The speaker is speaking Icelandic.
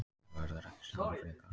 Það verður ekki samið frekar